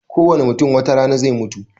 Kowane mutum watarana zai mutu